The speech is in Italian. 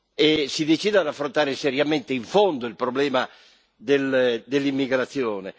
e si decida ad affrontare seriamente in fondo il problema dell'immigrazione.